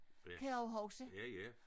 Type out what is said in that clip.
Kan jeg også huske